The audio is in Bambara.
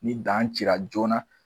Ni dan ci la joona.